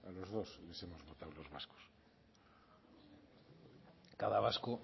los dos les hemos votado los vascos cada vasco